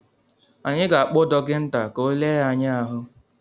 Anyị ga-akpọ dọkịta, ka ọ le ahụ ya